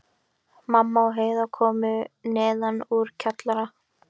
Mamma og Heiða komu neðan úr kjallara.